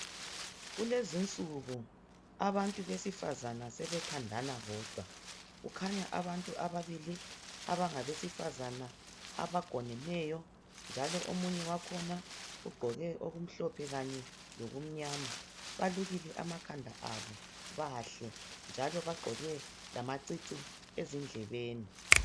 Kulezinsuku abantu abesifazana sebethandana bodwa kukhanya abantu ababili abangabesifazana abagoneneyo njalo omunye wakhona ugqoke okumhlophe lokumnyama belukile amakhanda bahle njalo bagqoke amacici endlebeni.